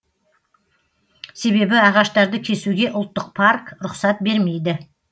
себебі ағаштарды кесуге ұлттық парк рұқсат бермейді